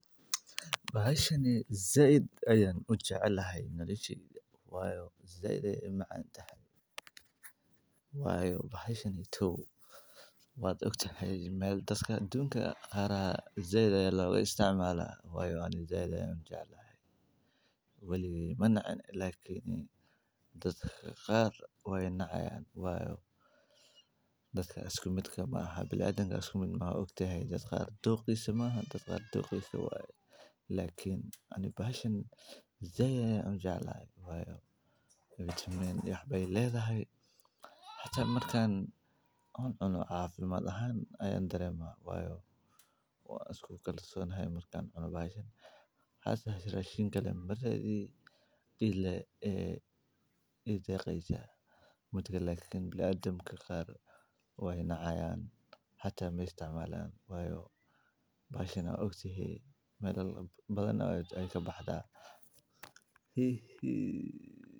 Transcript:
Bahashan eeh Zayd ayan u jeclahay noloshay waayo Zayd ay macaan tahay Waayo bahashani to waa ogtahay meel dadka doonka qaaraha Zayd ay la isticmaalaan waayo aan Zayd an jeclahay wali mana can laakiin dadka qaar way na cayaan waayo dadka isku midhka ma aha bilaa adagga isku min ma aho ogtahay dadka adoo qabso ma aha dadka ado qabso waayo laakiin ani bahashan Zayd ay an jeclahay waayo Vitamine yaxbay leedahay xata markaan hun muna afaimaad ahaan Ayan dareema waayo waa isku kalsoon hay markaan cuno bahashan xaas xiray shinkale maray dhiigga ee idii qeexaya mudugay laakiin bilaa adagga ka qaar way na cayaan xata meey isticmaalaan waayo bahashana ogtahay meelo badanaa ay ka baxdaa hi xii.